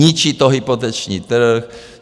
Ničí to hypoteční trh.